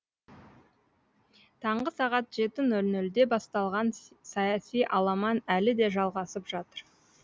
таңғы сағат жеті нөл нөлде басталған саяси аламан әлі де жалғасып жатыр